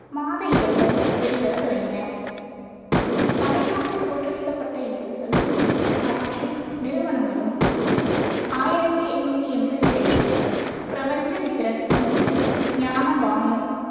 மாத இதழ்கள் வெளிவரத் தொடங்கின தமிழ்நாட்டில் தோற்றுவிக்கப்பட்ட இதழ்களும் அவற்றின் நிறுவனங்களும் ஆயிரத்தி எட்நூத்தி எண்பத்தி ரெண்டு பிரபஞ்சமித்திரன் மற்றும் ஞான பானு